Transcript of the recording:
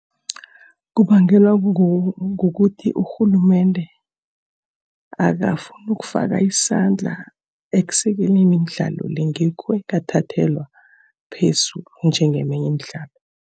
Kubangelwa kukuthi urhulumende akafuni ukufaka isandla ekusekeleni imidlalo le. Ngikho ingathathelwa phezulu njengeminye imidlalo.